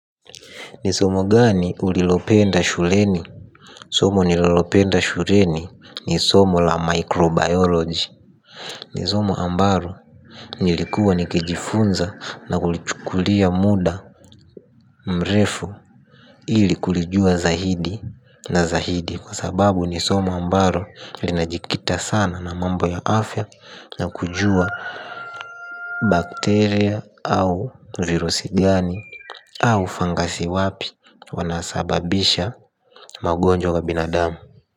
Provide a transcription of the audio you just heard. Ni somo gani ulilopenda shuleni. Somo nililopenda shuleni ni somo la microbiology. Ni somo ambalo nilikuwa nikijifunza na kulichukulia muda mrefu ili kulijua zaidi na zaidi kwa sababu ni somo ambalo linajikita sana na mambo ya afya na kujua bacteria au virusi gani au fangasi wapi wanasababisha magonjwa kwa binadamu.